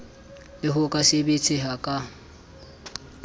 le ho ka sebetseha ha